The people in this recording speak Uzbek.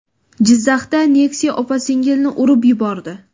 Jizzaxda Nexia opa-singilni urib yubordi.